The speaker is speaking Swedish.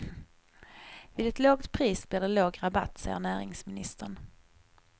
Vid ett lågt pris blir det låg rabatt, säger näringsministern.